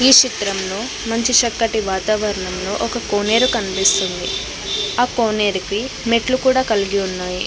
ఈ చిత్రంలో మంచి చక్కటి వాతావరణం లో ఒక కోనేరు కనిపిస్తుంది ఆ కొనేరుకి మెట్లు కూడ కలిగి ఉన్నాయి.